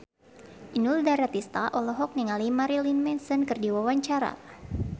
Inul Daratista olohok ningali Marilyn Manson keur diwawancara